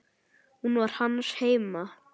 Hún var hans heima.